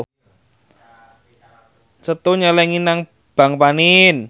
Setu nyelengi nang bank panin